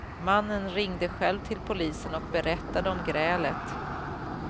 Mannen ringde själv till polisen och berättade om grälet.